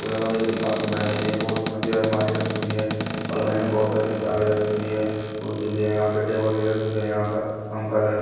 किताब दिखाई दे रही है बहुत यहाँ भी अलमारी रखी हुई है अलमारी में बहुत सारी किताबें रखी हुई है कुर्सी भी है यहां पे टेबल भी रखी है यहां पर पंखा भी लग--